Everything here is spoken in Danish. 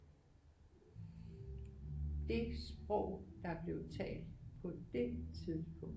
Det sprog der blev talt på det tidspunkt